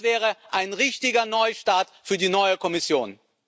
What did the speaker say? Das wäre ein richtiger Neustart für die neue Kommission.